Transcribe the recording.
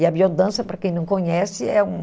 E a biodança, para quem não conhece, é um...